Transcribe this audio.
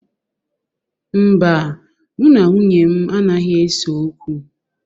Mba, mụ na nwunye m anaghị ese okwu.